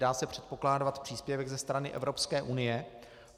Dá se předpokládat příspěvek ze strany Evropské unie.